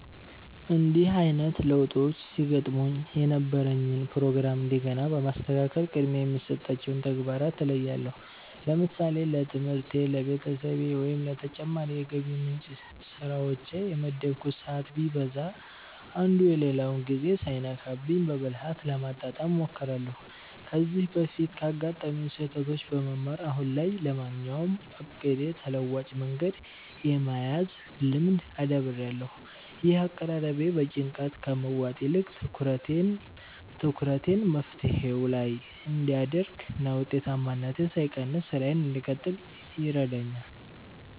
እንዲህ አይነት ለውጦች ሲገጥሙኝ የነበረኝን ፕሮግራም እንደገና በማስተካከል ቅድሚያ የሚሰጣቸውን ተግባራት እለያለሁ። ለምሳሌ ለትምህርቴ፣ ለቤተሰቤ ወይም ለተጨማሪ የገቢ ምንጭ ስራዎቼ የመደብኩት ሰዓት ቢዛባ፣ አንዱ የሌላውን ጊዜ ሳይነካብኝ በብልሃት ለማጣጣም እሞክራለሁ። ከዚህ በፊት ካጋጠሙኝ ስህተቶች በመማር፣ አሁን ላይ ለማንኛውም እቅዴ ተለዋጭ መንገድ የመያዝ ልምድ አዳብሬያለሁ። ይህ አቀራረቤ በጭንቀት ከመዋጥ ይልቅ ትኩረቴን መፍትሄው ላይ እንድ አደርግ እና ውጤታማነቴ ሳይቀንስ ስራዬን እንድቀጥል ይረዳኛል።